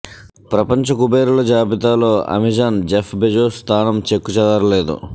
ప్రపంచ కుబేరుల జాబితాలో అమెజాన్ జెఫ్ బెజోస్ స్థానం చెక్కు చెదరలేదు